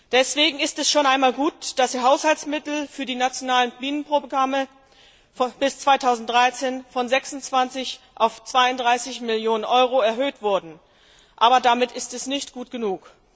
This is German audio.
Deswegen ist es schon einmal gut, dass die Haushaltsmittel für die nationalen Bienenprogramme bis 2013 von 26 auf 32 Millionen Euro erhöht wurden. Aber damit ist es nicht gut genug.